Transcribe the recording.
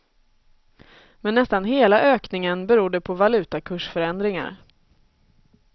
Men nästan hela ökningen berodde på valutakursförändringar.